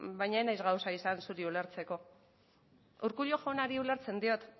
baina ez naiz gauza izan zuri ulertzeko urkullu jaunari ulertzen diot